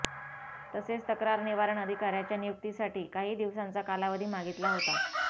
तसेच तक्रार निवारण अधिकाऱ्याच्या नियुक्तीसाठी काही दिवसांचा कालावधी मागितला होता